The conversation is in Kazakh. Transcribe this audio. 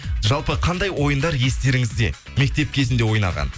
жалпы қандай ойындар естеріңізде мектеп кезінде ойнаған